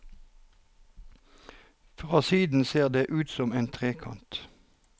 Fra siden ser det ut som en trekant.